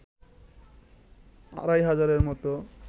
আড়াই হাজারের মতো